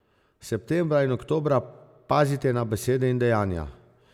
Septembra in oktobra pazite na besede in dejanja.